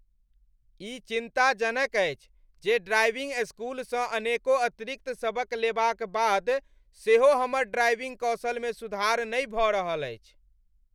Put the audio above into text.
ई चिन्ताजनक अछि जे ड्राइविंग स्कूलसँ अनेको अतिरिक्त सबक लेबाक बाद सेहो हमर ड्राइविंग कौशलमे सुधार नहि भऽ रहल अछि।